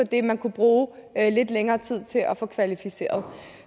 det man kunne bruge lidt længere tid til at få kvalificeret